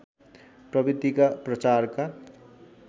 प्रवृत्तिका प्रचारका